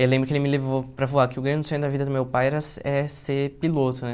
Eu lembro que ele me levou para voar, que o grande sonho da vida do meu pai era ser é ser piloto, né?